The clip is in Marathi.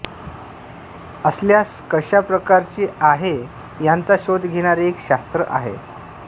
असल्यास कशा प्रकारचे आहे याचा शोध घेणारे एक शास्त्र आहे